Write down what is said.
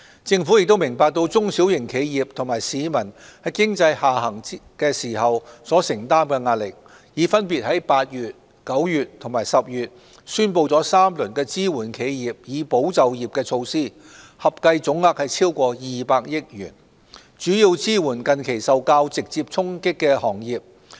政府明白中小型企業及市民在經濟下行時所承擔的壓力，已分別於8月、9月及10月宣布3輪支援企業以保就業的措施，合計總額超過200億元，主要支援近期受較直接衝擊的行業。